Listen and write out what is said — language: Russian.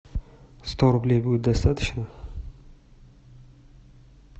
сто рублей будет достаточно